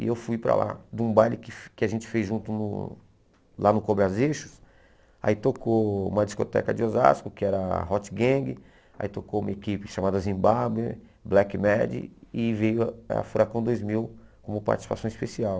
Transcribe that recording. E eu fui para lá, de um baile que que a gente fez junto lá no Cobras Eixos, aí tocou uma discoteca de Osasco, que era a Hot Gang, aí tocou uma equipe chamada Zimbabwe, Black Mad, e veio a Furacão Dois Mil como participação especial.